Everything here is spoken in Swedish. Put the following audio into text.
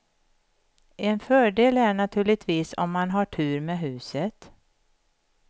En fördel är naturligtvis om man har tur med huset.